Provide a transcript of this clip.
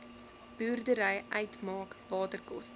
boerdery uitmaak waterkoste